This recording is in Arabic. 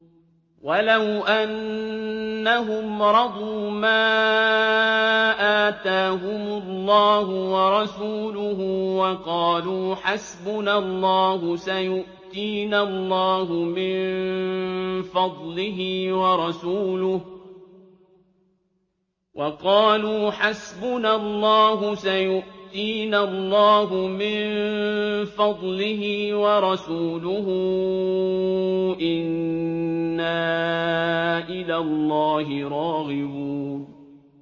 وَلَوْ أَنَّهُمْ رَضُوا مَا آتَاهُمُ اللَّهُ وَرَسُولُهُ وَقَالُوا حَسْبُنَا اللَّهُ سَيُؤْتِينَا اللَّهُ مِن فَضْلِهِ وَرَسُولُهُ إِنَّا إِلَى اللَّهِ رَاغِبُونَ